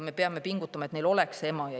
Me peame pingutama, et lastel oleks ema ja isa.